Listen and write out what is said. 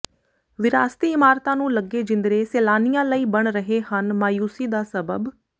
ਵਿਰਾਸਤੀ ਇਮਾਰਤਾਂ ਨੂੰ ਲੱਗੇ ਜਿੰਦਰੇ ਸੈਲਾਨੀਆਂ ਲਈ ਬਣ ਰਹੇ ਹਨ ਮਾਯੂਸੀ ਦਾ ਸਬੱਬ